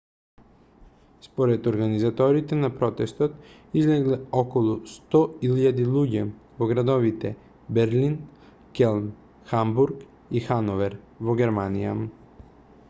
според организаторите на протест излегле околу 100.000 луѓе во градовите берлин келн хамбург и хановер во германија